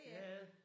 Ja ja